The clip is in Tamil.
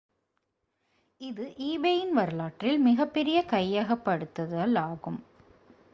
இது ebay-இன் வரலாற்றில் மிகப்பெரிய கையகப்படுத்தலாகும்